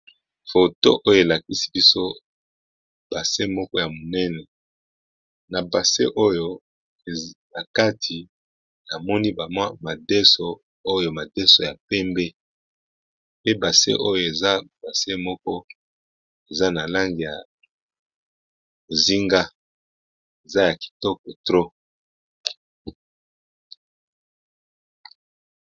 Foto oyo elakisi biso base moko ya monene, na base oyo na kati namoni bamwa madeso, oyo madeso ya pembe pe base oyo eza base moko eza na lange ya bozinga, eza ya kitoko trop.